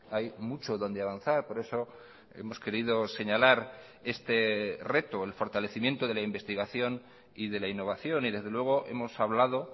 hay mucho donde avanzar por eso hemos querido señalar este reto el fortalecimiento de la investigación y de la innovación y desde luego hemos hablado